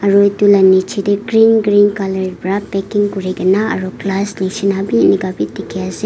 Aro etu la nejey tey green green colour bra packing kure kena aro glass neshina bi enika bi dekhi ase.